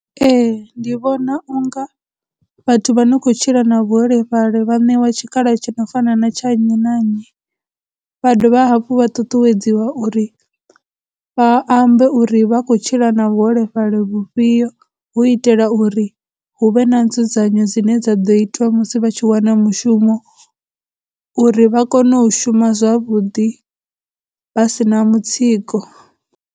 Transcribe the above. Ee, ndi vhona unga vhathu vha no khou tshila na vhuholefhali vha ṋewa tshikhala tshi no fana na tsha nnyi na nnyi, vha dovha hafhu vha ṱuṱuwedziwa uri vha ambe uri vha khou tshila na vhuholefhali vhufhio hu itela uri hu vhe na nzudzanyo dzine dza ḓo itwa musi vha tshi wana mushumo uri vha kone u shuma zwavhuḓi vha sina mutsiko.